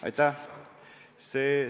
Aitäh!